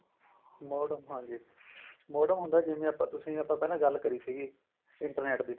modem ਹਾਂਜੀ modem ਹੁੰਦਾ ਜਿਵੇਂ ਆਪਾਂ ਤੁਸੀਂ ਆਪਾਂ ਪਹਿਲਾਂ ਗੱਲ ਕਰੀ ਸੀਗੀ internet ਦੀ